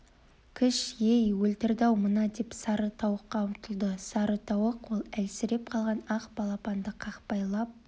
кіш ей өлтірді-ау мынау деп сары тауыққа ұмтылды сары тауық ол әлсіреп қалған ақ балапанды қақпайлап